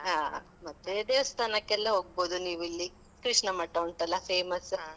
ಹಾ. ಮತ್ತೇ ದೇವಸ್ಥಾನಕ್ಕೆಲ್ಲ ಹೋಗ್ಬೋದು ನೀವಿಲ್ಲಿ. ಕೃಷ್ಣಮಠ ಉಂಟಲ್ಲ, famous.